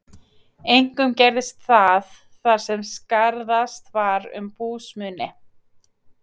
Einkum gerðist það, þar sem skarðast var um búsmuni.